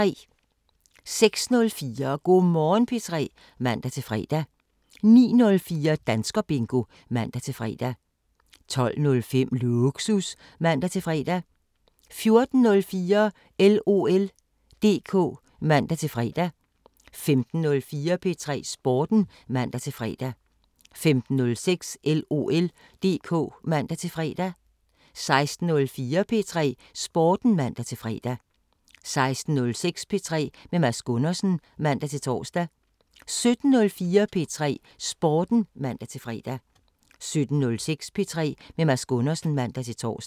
06:04: Go' Morgen P3 (man-fre) 09:04: Danskerbingo (man-fre) 12:05: Lågsus (man-fre) 14:04: LOL DK (man-fre) 15:04: P3 Sporten (man-fre) 15:06: LOL DK (man-fre) 16:04: P3 Sporten (man-fre) 16:06: P3 med Mads Gundersen (man-tor) 17:04: P3 Sporten (man-fre) 17:06: P3 med Mads Gundersen (man-tor)